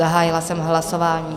Zahájila jsem hlasování.